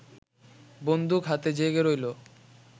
বন্দুক হাতে জেগে রইল